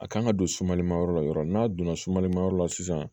A kan ka don sumali ma yɔrɔ la yɔrɔ min n'a donna sumalimayɔrɔ la sisan